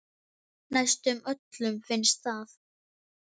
Næstum öllum finnst það.